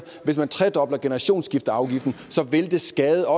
at hvis man tredobler generationsskifteafgiften så vil det skade